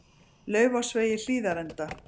Laufásvegi Hlíðarenda